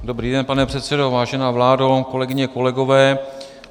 Dobrý den, pane předsedo, vážená vládo, kolegyně, kolegové.